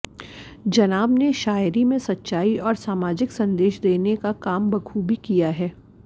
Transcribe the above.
जनाब ने शायरी में सच्चाई और समाजिक संदेश देने का काम बखूबी किया है